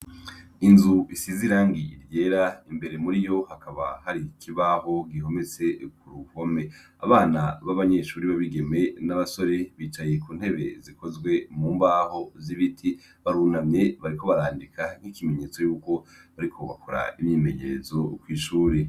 Inzu isize irangi ryera imbere muri yo hakaba hari ikibaho gihometse ku ruhome. Abana b'abanyeshure b'abigeme n'abasore bicaye ku ntebe zikozwe mu mbaho z'ibiti, barunamye bariko barandika nk'ikimenyetso yuko bariko barakora imyimenyerezo kw'ishure.